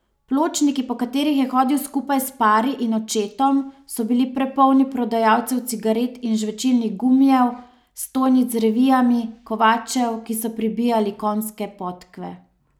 Pločniki, po katerih je hodil skupaj s Pari in očetom, so bili prepolni prodajalcev cigaret in žvečilnih gumijev, stojnic z revijami, kovačev, ki so pribijali konjske podkve.